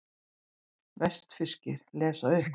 Vestfirskir lesa upp